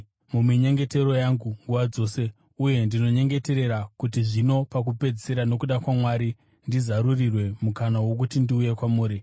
muminyengetero yangu nguva dzose; uye ndinonyengeterera kuti zvino pakupedzisira nokuda kwaMwari ndizarurirwe mukana wokuti ndiuye kwamuri.